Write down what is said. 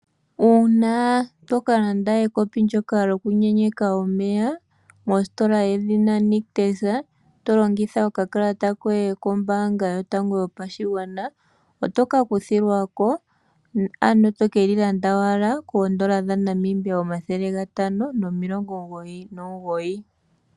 Uuna tokalanda ekopi ndjoka lyoku yenyeka omeya mositola yedhina Nictus, to longitha okakalata koye kombaanga yotango yopashigwana ,otoka kuthilwako ano tokeli landa owala koondola dha Namibia omathele geli gatano nomilongo omugoyi nomugoyi.